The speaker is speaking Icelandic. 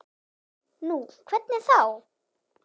Nú, hvernig þá?